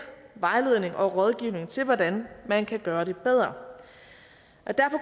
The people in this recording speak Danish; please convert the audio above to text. vejledning og rådgivning til hvordan man kan gøre det bedre derfor